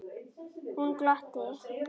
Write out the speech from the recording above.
Hún glotti.